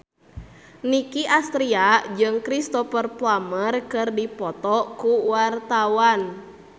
Nicky Astria jeung Cristhoper Plumer keur dipoto ku wartawan